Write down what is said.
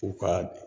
U ka